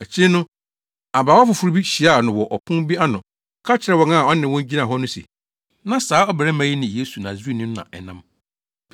Akyiri no, abaawa foforo bi hyiaa no wɔ ɔpon bi ano ka kyerɛɛ wɔn a ɔne wɔn gyina hɔ no se, “Na saa ɔbarima yi ne Yesu Nasareni no na ɛnam.”